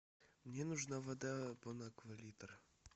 мне нужна вода бонаква литр